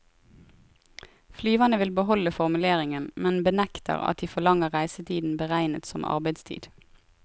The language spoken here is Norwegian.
Flyverne vil beholde formuleringen, men benekter at de forlanger reisetiden beregnet som arbeidstid.